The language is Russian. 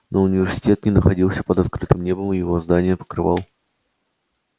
но университет не находился под открытым небом его здания покрывал